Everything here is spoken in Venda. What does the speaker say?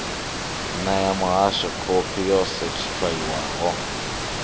ṋee muhasho khophi yo sethifaiwaho